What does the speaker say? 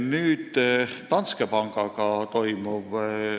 Nüüd Danske Bankiga toimuvast.